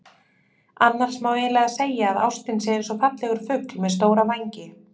Annars má eiginlega segja að ástin sé eins og fallegur fugl með stóra vængi.